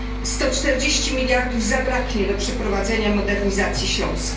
140 miliardów zabraknie do przeprowadzenia modernizacji Śląska.